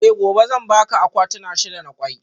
Eh gobe zan baka akwatuna shida na kwai